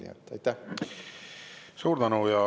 Suur tänu!